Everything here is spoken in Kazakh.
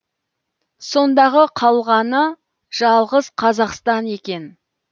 сондағы қалғаны жалғыз қазақстан екен